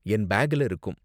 என் பேக்ல இருக்கும்.